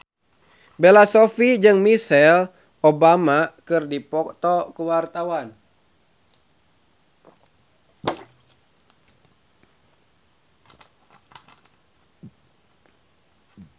Bella Shofie jeung Michelle Obama keur dipoto ku wartawan